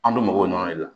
An bɛ mɔgɔw ɲana de la